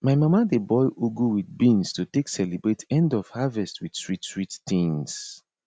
my mama dey boil ugu with beans to take celebrate end of harvest with sweetsweet things